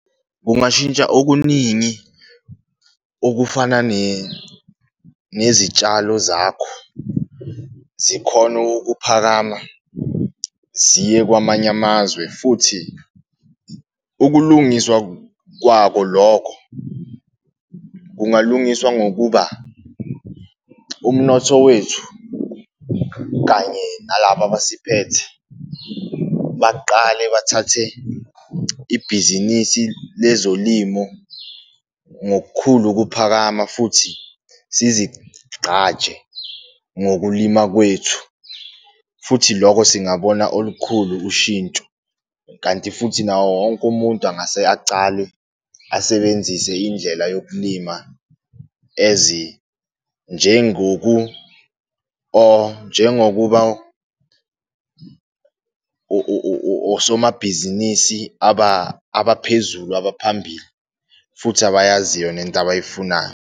Kungashintsha okuningi okufana nezitshalo zakho zikhone ukuphakama ziye kwamanye amazwe futhi ukulungiswa kwako lokho kungalungiswa ngokuba umnotho wethu kanye nalaba abasiphethe, baqale bathathe ibhizinisi lezolimo ngokukhulu ukuphakama futhi sizigqaje ngokulima kwethu futhi loko singabona olukhulu ushintsho. Kanti futhi nawo wonke umuntu angase acale asebenzise indlela yokulima ezinjengoku njengokuba osomabhizinisi abaphezulu abaphambili futhi abayaziyo nento abayifunayo.